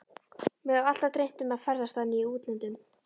Mig hefur alltaf dreymt um að ferðast þannig í útlöndum.